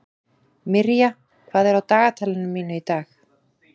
Mirja, hvað er á dagatalinu mínu í dag?